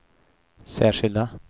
särskilda